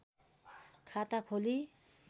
खाता खोली